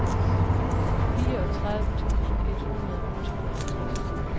fireogtredive tusind et hundrede og tooghalvtreds